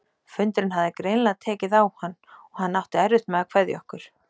Fundurinn hafði greinilega tekið á hann- og hann átti erfitt með að kveðja okkur.